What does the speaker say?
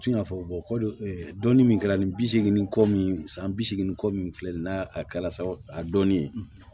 Tun y'a fɔ ko dɔnni min kɛra ni bi seegin kɔ min san bi seegin kɔ min filɛ nin n'a kɛra sa a dɔnnen ye